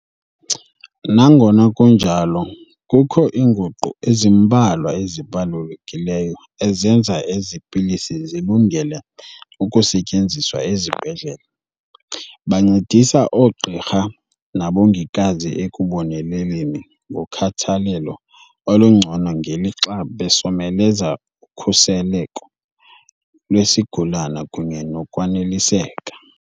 Nangona kunjalo, kukho iinguqu ezimbalwa ezibalulekileyo ezenza ezi pilisi zilungele ukusetyenziswa ezibhedlele. Bancedisa oogqirha nabongikazi ekuboneleleni ngokhathalelo olungcono ngelixa besomeleza ukhuseleko lwesigulana kunye nokwaneliseka.